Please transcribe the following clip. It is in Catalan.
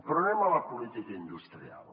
però anem a la política industrial